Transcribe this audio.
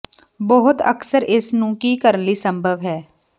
ਬਹੁਤ ਅਕਸਰ ਇਸ ਨੂੰ ਕੀ ਕਰਨ ਲਈ ਸੰਭਵ ਹੈ